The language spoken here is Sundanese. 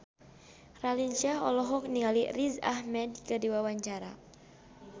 Raline Shah olohok ningali Riz Ahmed keur diwawancara